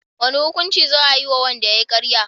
wane hukunci za ayi wa wanda yayi karya?